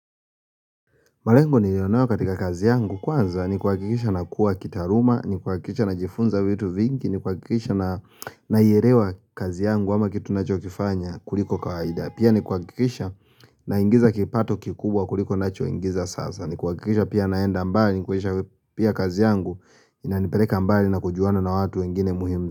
Malengo niliyonayo katika kazi yangu kwanza ni kuakikisha nakuwa kitaluma, ni kuakikisha najifunza vitu vingi, ni kuakikisha naielewa kazi yangu ama kitu nachokifanya kuliko kawaida Pia ni kuakikisha naingiza kipato kikubwa kuliko nachoingiza sasa, ni kuakikisha pia naenda mbali, ni kuakikisha pia kazi yangu inanipeleka mbali na kujuana na watu wengine muhimu.